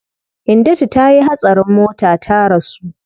Hindatu tayi hatsarin mota ta rasu.